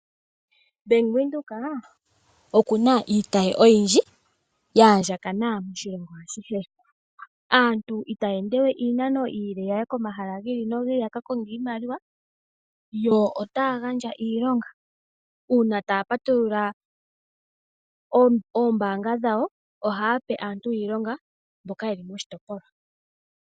Ombaanga yaVenduka okuna iitayi oyindji ya andjakana moshilongo ashihe. Aantu itaya ende we iinano iile yaye komahala gi ili nogi ili yaka konge iimaliwa. Yo otaya gandja iilonga uuna taya patulula oombaanga dhawo ohaya pe aantu iilonga mboka yeli moshitopolwa